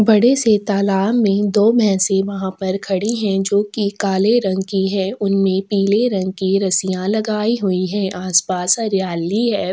बड़े से तालाब में दो भैसे वहाँ पर खड़ी है जो की काले रंग की है उनमे पीले रंग की रस्सी लगायी हुई है आस-पास हरियाली है।